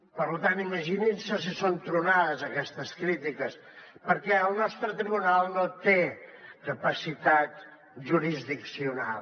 per tant imaginin se si són tronades aquestes crítiques perquè el nostre tribunal no té capacitat jurisdiccional